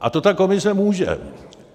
A to ta komise může.